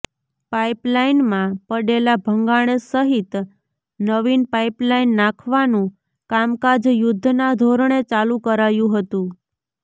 પાઇપલાઇનમાં પડેલા ભંગાણ સહિત નવીન પાઈપલાઈન નાખવાનું કામકાજ યુદ્ધના ધોરણે ચાલુ કરાયું હતું